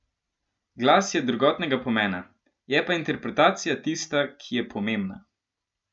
Glas je drugotnega pomena, je pa interpretacija tista, ki je pomembna.